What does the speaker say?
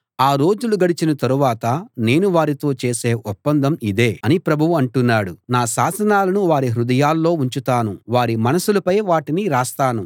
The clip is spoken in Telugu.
ఆ రోజులు గడిచిన తరువాత నేను వారితో చేసే ఒప్పందం ఇదే అని ప్రభువు అంటున్నాడు నా శాసనాలను వారి హృదయాల్లో ఉంచుతాను వారి మనసులపై వాటిని రాస్తాను